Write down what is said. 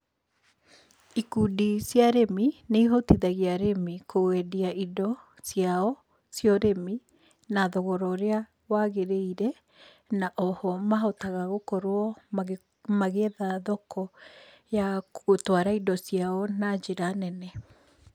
Ikundi cia arĩmi nĩ ihotithagia arĩmi kwendia indo ciao cia ũrĩmi na thogora ũrĩa wagĩrĩire na o ho mahotaga gũkorwo magĩetha thoko ya gũtwara indo ciao na njĩra nene.